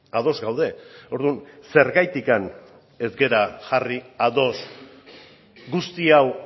ados gaude orduan zergatik ez gara jarri ados guzti hau